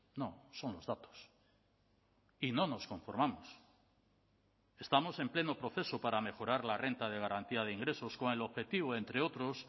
no son los datos y no nos conformamos estamos en pleno proceso para mejorar la renta de garantía de ingresos con el objetivo entre otros